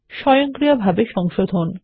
স্বয়ংক্রিয়ভাবে সংশোধন